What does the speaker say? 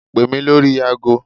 Pè mí lórí agọ.